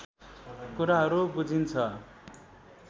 कुराहरू बुझिन्छ